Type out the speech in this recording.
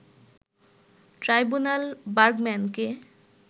tribunal বার্গম্যানকে